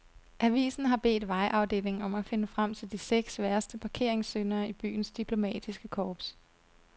Avisen har bedt vejafdelingen om at finde frem til de seks værste parkeringssyndere i byens diplomatiske korps.